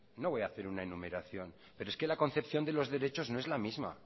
no voy a hacer una enumeración pero es que la concepción de los derechos no es la misma